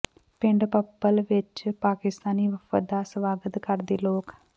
ਪਿੰਡ ਭੱਪਲ ਵਿੱਚ ਪਾਕਿਸਤਾਨੀ ਵਫ਼ਦ ਦਾ ਸਵਾਗਤ ਕਰਦੇ ਲੋਕ